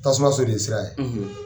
Tasumaso de ye sira ye